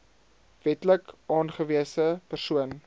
wetlik aangewese persoon